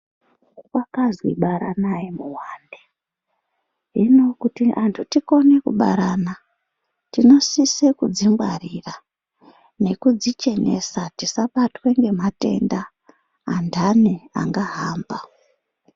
Kwakazi baranai muwande. Hino kuti antu tikone kubarana, tinosise kudzingwarira nekudzichenesa, tingabatwe ngematenda, antani angahamba.